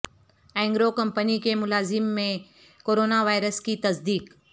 Engro company کے ملازم میں کرونا وائرس کی تصدیق